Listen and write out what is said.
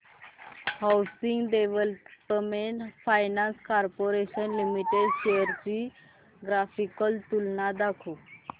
housing development finance corporation limited shares ची graphical तुलना दाखव